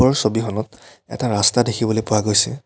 ওপৰৰ ছবিখনত এটা ৰাস্তা দেখিবলৈ পোৱা গৈছে।